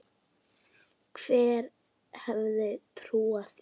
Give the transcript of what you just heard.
Hver hefði trúað því.